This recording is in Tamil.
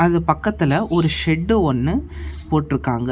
இது பக்கத்துல ஒரு ஷெட்டு ஒன்னு போட்டுருக்காங்க.